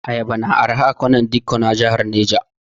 Ayaba na arha a kwanar dikko na jahar Neja.